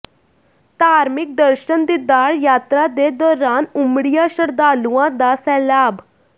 ਧਾਰਮਿਕ ਦਰਸ਼ਨ ਦੀਦਾਰ ਯਾਤਰਾ ਦੇ ਦੌਰਾਨ ਉਮੜਿਆ ਸ਼ਰਧਾਲੂਆਂ ਦਾ ਸੈਲਾਬ